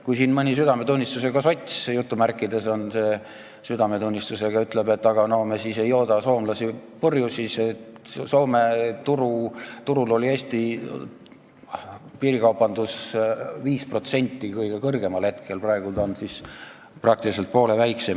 Kui siin mõni "südametunnistusega" sots ütleb, et aga me siis ei jooda enam soomlasi purju, siis mõelge, et Soome turust moodustas Eesti piirikaubandus tipphetkel 5%, praegu on ta peaaegu poole väiksem.